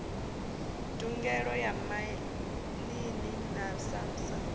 ndugelo ya maḓini na samsa